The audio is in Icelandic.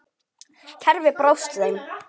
Kerfið brást þeim.